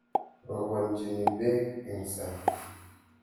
Robanchoni peek eng sang.